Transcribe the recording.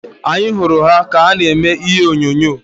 Anyị hụrụ ha ka na-eme ihe onyonyo.